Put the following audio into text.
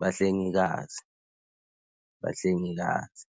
Bahlengikazi bahlengikazi.